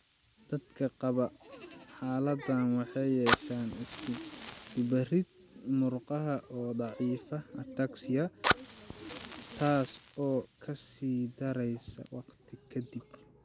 Dadka qaba xaaladdan waxay yeeshaan isku-dubarid murqaha oo daciifa (ataxia) taas oo ka sii daraysa waqti ka dib.